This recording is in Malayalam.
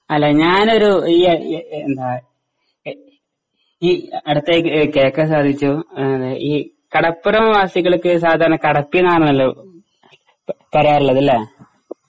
അല്ല ഞാനൊരു ഈ യെ എന്താ എഹ് ഈ അടത്തേക്ക് എഹ് കേൾക്കാൻ സാധിച്ചു അത് ഈ കടപ്പുറം വാസികൾക്ക് സാധാരണ കടത്തിന്നാണല്ലോ പ പറയാറിള്ളത് ല്ലേ?